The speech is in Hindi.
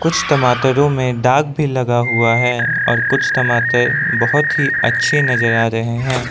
कुछ टमाटरों में दाग भी लगा हुआ है और कुछ टमाटर बहुत ही अच्छे नजर आ रहे है।